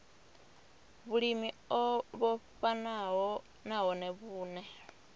vhulimi o vhofhanaho nahone vhune